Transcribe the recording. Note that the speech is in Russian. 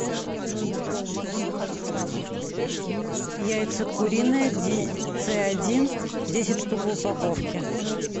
яйца куриные ц один десять штук в упаковке